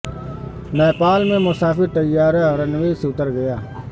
نیپال میں مسافر طیارہ رن وے سے اتر گیا